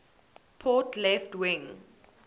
port left wing